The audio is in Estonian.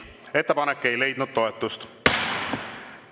Ettepanek ei leidnud toetust.